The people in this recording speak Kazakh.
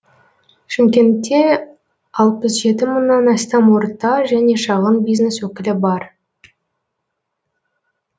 шымкентте алпыс жеті мыңнан астам орта және шағын бизнес өкілі бар